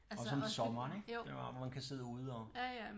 Også om sommeren ik hvor man kan sidde ude og